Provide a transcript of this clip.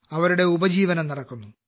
അവരുടെ ഉപജീവനം നടക്കുന്നു